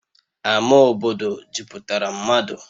Ama obodo jupụtara mmadụ